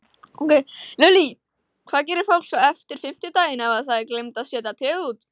Lillý: Hvað gerir fólk svo eftir fimmtudaginn ef að það gleymdi að setja tréð út?